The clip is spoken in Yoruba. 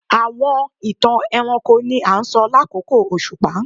Awọn itan ẹranko ni a sọ lakoko oṣupa